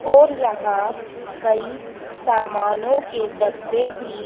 और यहां कई सामानो के डब्बे भी--